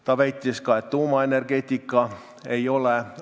Ta väitis ka, et tuumaenergeetika ei ole alternatiiv.